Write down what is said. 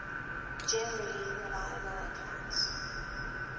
generally reliable accounts